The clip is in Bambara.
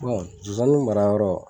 Bon nsonsannin marayɔrɔ